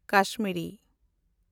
Kashmiri